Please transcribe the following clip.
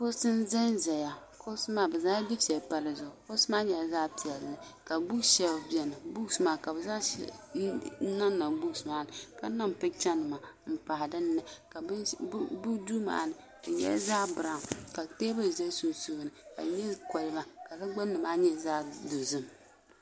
kuɣusi n ʒɛnʒɛya kuɣusi maa bi zaŋla dufɛli pa dizuɣu kuɣusi maa nyɛla zaɣ piɛlli ka buuks sheelf biɛni ka bi zaŋ niŋniŋ buuks maa ni ka niŋ picha nima n pahi dinni bi duu maa ni di nyɛla zaɣ biraawn ka teebuli ʒɛ sunsuuni ka di nyɛ kolba ka di gbunni maa nyɛ zaɣ dozim